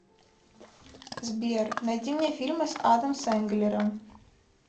сбер найди мне фильмы с адом сенглером